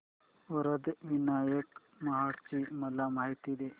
वरद विनायक महड ची मला माहिती दे